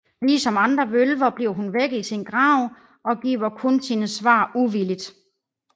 Lige som andre vølver bliver hun vækket i sin grav og giver kun sine svar uvilligt